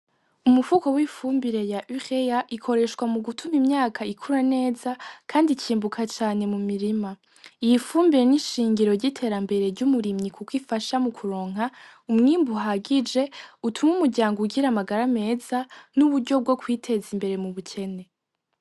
Umufuko w’ifumbire ya UREA ikoreshwa mu gutuma imyaka ikura neza kandi ikimbuka cane mu mirima. Iyi fumbire ni ishingiro ry’iterambere ry’umurimyi kukwifasha mu kuronka umwimbu uhagije utuma umuryango ugira amagara meza n’uburyo bwo kwiteza imbere mu bukene.